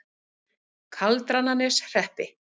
Kaldrananeshreppi